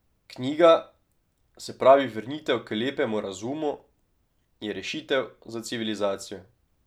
Knjiga, se pravi vrnitev k lepemu razumu, je rešitev za civilizacijo.